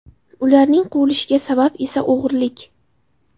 Ularning quvilishiga sabab esa o‘g‘irlik.